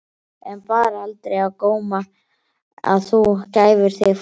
En bar aldrei á góma að þú gæfir þig fram?